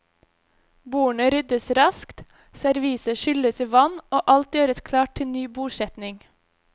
Bordene ryddes raskt, serviset skylles i vann, og alt gjøres klart til ny bordsetning.